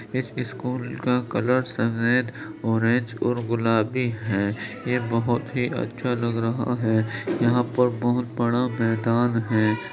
इस स्कूल का कलर सफेद ऑरेंज और गुलाबी है| ये बहुत ही अच्छ लग रहा है| यहा पर बहुत बड़ा मैदान है।